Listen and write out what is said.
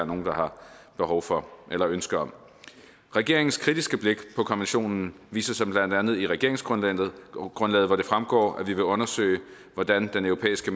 nogen der har behov for eller ønske om regeringens kritiske blik på konventionen viser sig blandt andet i regeringsgrundlaget hvor det fremgår at vi vil undersøge hvordan den europæiske